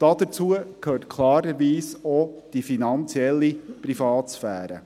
Dazu gehört klarerweise auch die finanzielle Privatsphäre.